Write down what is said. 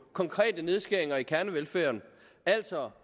konkrete nedskæringer i kernevelfærden altså